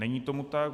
Není tomu tak.